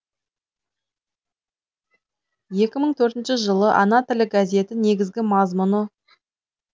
екі мың төртінші жылы ана тілі газеті негізгі мазмұны